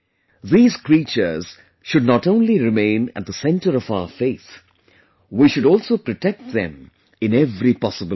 These creatures should not only remain at the centre of our faith, we should also protect them in every possible way